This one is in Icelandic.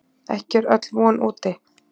Ekki er öll von úti.